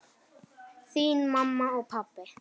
Þín mamma og pabbi.